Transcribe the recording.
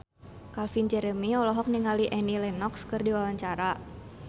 Calvin Jeremy olohok ningali Annie Lenox keur diwawancara